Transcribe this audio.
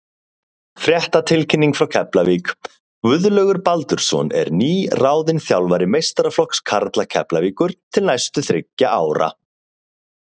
Fréttatilkynning frá Keflavík: Guðlaugur Baldursson er nýráðinn þjálfari meistaraflokks karla Keflavíkur til næstu þriggja ára.